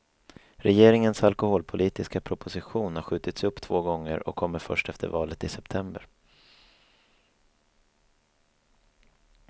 Regeringens alkoholpolitiska proposition har skjutits upp två gånger och kommer först efter valet i september.